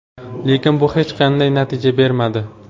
Lekin bu hech qanday natija bermadi.